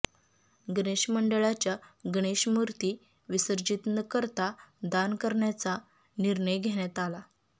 गणेश मंडळांच्या गणेशमूर्ती विसर्जित न करता दान करण्याचा निर्णय घेण्यात आला